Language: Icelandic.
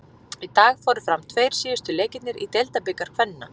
Í dag fóru fram tveir síðustu leikirnir í Deildabikar kvenna.